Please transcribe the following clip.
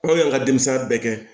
Anw y'an ka denmisɛnya bɛɛ kɛ